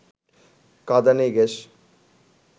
কাঁদানে gas